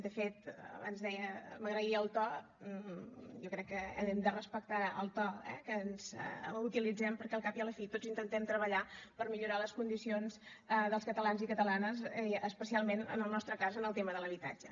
de fet abans m’agraïa el to jo crec que hem de respectar el to eh que ens utilitzem perquè al cap i a la fi tots intentem treballar per millorar les condicions dels catalans i catalanes especialment en el nostre cas en el tema de l’habitatge